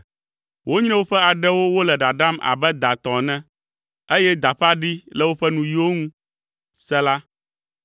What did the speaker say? Wonyre woƒe aɖewo wole ɖaɖam abe da tɔ ene, eye da ƒe aɖi le woƒe nuyiwo ŋu. Sela